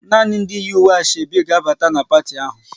Nani ndị yi uwe Asoebi ga abata n' parti ahụ!